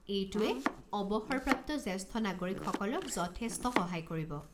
এইটোৱে অৱসৰপ্ৰাপ্ত জ্যেষ্ঠ নাগৰিকসকলক যথেষ্ট সহায় কৰিব।